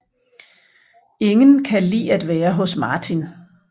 Ingen kan lide at være hos Martin